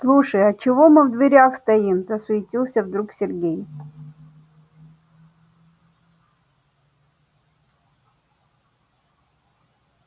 слушай а чего мы в дверях стоим засуетился вдруг сергей